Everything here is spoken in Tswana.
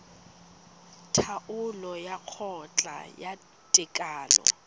taolo ya kgotla ya tekano